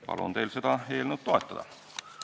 Palun teil seda eelnõu toetada!